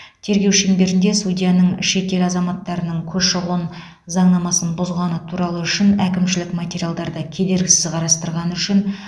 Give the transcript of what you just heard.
тергеу шеңберінде судьяның шетел азаматтарының көші қон заңнамасын бұзғаны туралы әкімшілік материалдарды кедергісіз қарастырғаны үшін